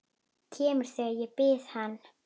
Kemur þegar ég bið hann.